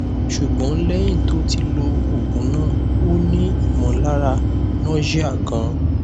ṣùgbọn lẹyìn tó ti lo oògùn náà ó n ni imolara nausea gan